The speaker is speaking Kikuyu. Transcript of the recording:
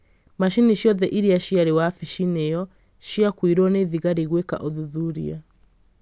Macini ciothe iria ciarĩ wabici-inĩ ĩyo ciakuirũo nĩ thigari gwĩka ũthũthũria